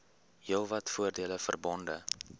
heelwat voordele verbonde